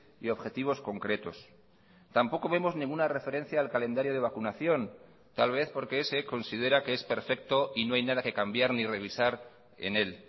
y objetivos concretos tampoco vemos ninguna referencia al calendario de vacunación tal vez porque ese considera que es perfecto y no hay nada que cambiar ni revisar en él